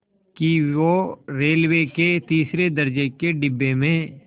कि वो रेलवे के तीसरे दर्ज़े के डिब्बे में